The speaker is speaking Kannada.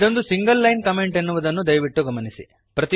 ಇದೊಂದು ಸಿಂಗಲ್ ಲೈನ್ ಕಮೆಂಟ್ ಎನ್ನುವುದನ್ನು ದಯವಿಟ್ಟು ಗಮನಿಸಿ